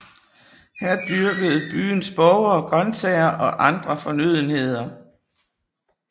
Her dyrkede byens borgere grøntsager og andre fornødenheder